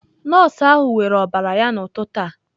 Nọọsụ ahụ weere ọbara ya n'ụtụtụ a.